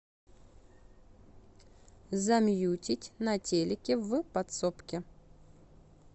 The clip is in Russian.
замьютить на телике в подсобке